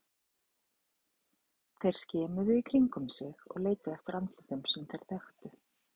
Þeir skimuðu í kringum sig og leituðu eftir andlitum sem þeir þekktu.